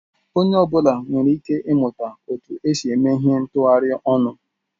Onye ọ bụla nwere ike ịmụta otu esi eme ihe ntghari onu.